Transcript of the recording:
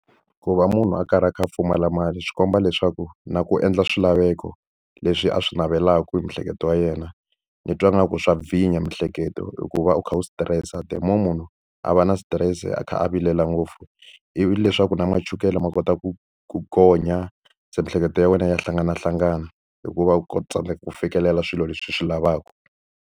Ku va munhu a karhi a kha a pfumala mali swi komba leswaku na ku endla swilaveko leswi a swi navelaka hi miehleketo ya yena, ni twa ingaku swa bvinya miehleketo hi ku va u kha u stress-a. The more munhu a va na stress-e kha a vilela ngopfu, ivi leswaku na machukele ma kota ku ku gonya. Se miehleketo ya wena ya hlanganahlangana hi ku va ku tsandzeka ku fikelela swilo leswi u swi lavaka.